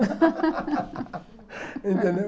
Entendeu?